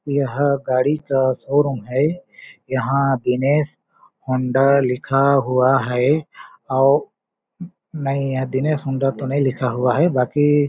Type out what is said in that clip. यह गाड़ी का शोरूम है यहाँ दिनेश होंडा लिखा हुआ है औ नहीं ये दिनेश हौंडा तो नहीं लिखा हुआ है बाकी--